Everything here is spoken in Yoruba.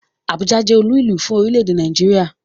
Abuja jẹ́ olúùlú fún orílẹ̀-èdè Nàìjíríà